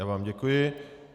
Já vám děkuji.